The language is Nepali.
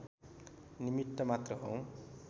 निमित्त मात्र हौँ